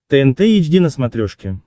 тнт эйч ди на смотрешке